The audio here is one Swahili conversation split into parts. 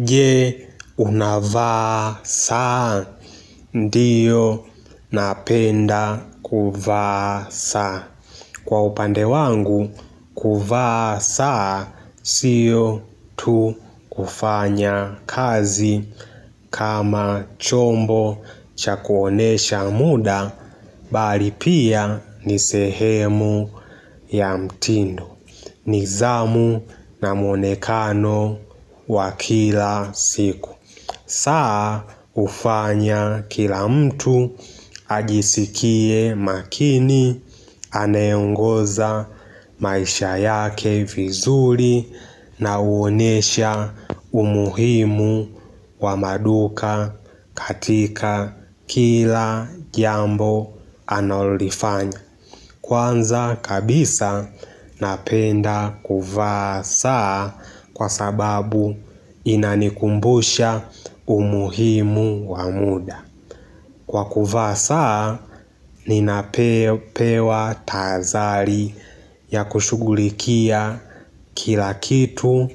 Je unavaa saa. Ndio napenda kuvaa saa. Kwa upande wangu kuvaa saa sio tu kufanya kazi kama chombo cha kuonesha muda bali pia ni sehemu ya mtindo. Nidhamu na muonekano wa kila siku saa hufanya kila mtu ajisikie makini Anayeongoza maisha yake vizuri na huonesha umuhimu wa maduka katika kila jambo analolifanya Kwanza kabisa napenda kuvaa saa kwa sababu inanikumbusha umuhimu wa muda Kwa kuvaa saa ninapewa tazari ya kushughulikia kila kitu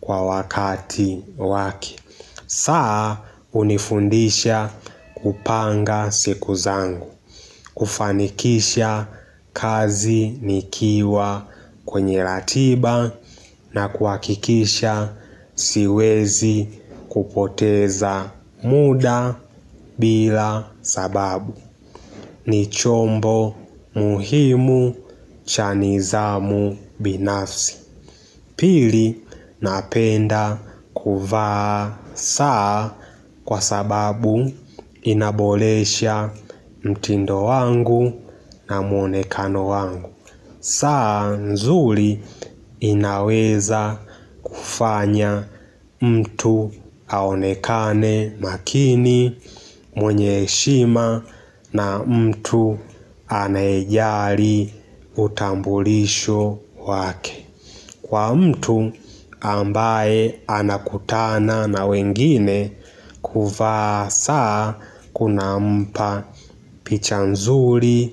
kwa wakati wake saa hunifundisha kupanga siku zangu. Kufanikisha kazi nikiwa kwenye ratiba na kuhakikisha siwezi kupoteza muda bila sababu. Ni chombo muhimu cha nidhamu binafsi Pili napenda kuvaa saa Kwa sababu inaboresha mtindo wangu na mwonekano wangu saa nzuri inaweza kufanya mtu aonekane makini mwenye heshima na mtu anayejali utambulisho wake Kwa mtu ambaye anakutana na wengine kuvaa saa kuna mpa picha nzuri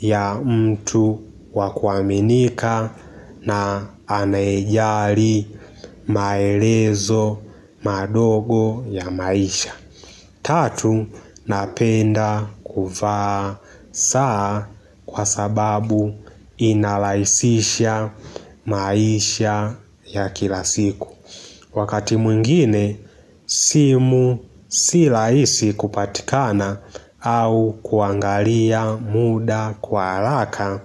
ya mtu wa kuaminika na anayejali maelezo madogo ya maisha. Tatu, napenda kuvaa saa kwa sababu inarahisisha maisha ya kila siku Wakati mwingine, simu si rahisi kupatikana au kuangalia muda kwa haraka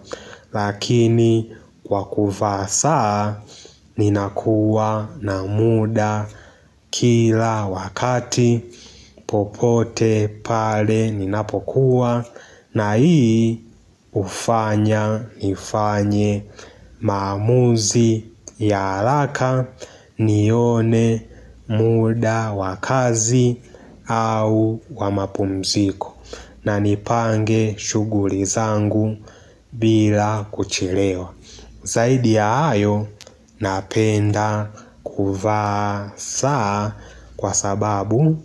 Lakini kwa kuvaa saa ninakuwa na muda kila wakati popote pale ninapokuwa na hii hufanya nifanye maamuzi ya haraka nione muda wa kazi au wa mapumziko na nipange shughuli zangu bila kuchelewa Zaidi ya hayo napenda kuvaa saa kwa sababu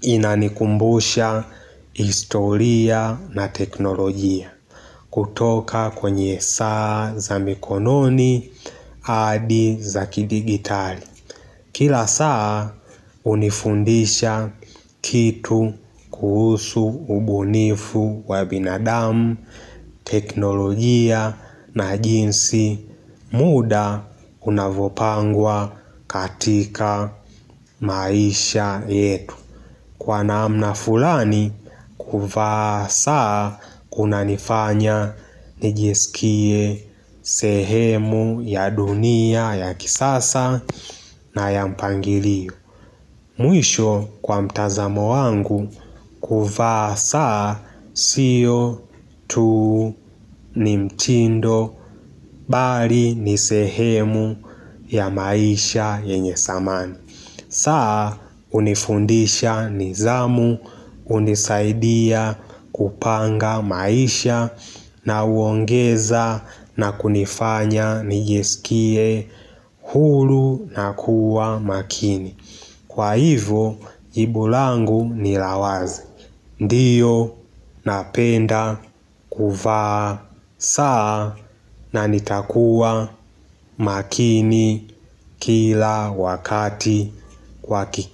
inanikumbusha historia na teknolojia kutoka kwenye saa za mikononi hadi za kidigitali. Kila saa hunifundisha kitu kuhusu ubunifu wa binadamu, teknolojia na jinsi muda unavyopangwa katika maisha yetu. Kwa namna fulani, kuvaa saa kuna nifanya nijiskie sehemu ya dunia ya kisasa na ya mpangilio. Mwisho kwa mtazamo wangu kuvaa saa sio tu ni mtindo bali ni sehemu ya maisha yenye dhamani. Saa hunifundisha nidhamu, hunisaidia kupanga maisha na huongeza na kunifanya nijiskie huru na kuwa makini. Kwa hivyo, jibu langu nilawazi Ndio, napenda, kuvaa, saa na nitakuwa makini kila wakati kwa kiki.